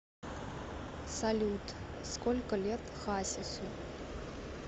салют сколько лет хасису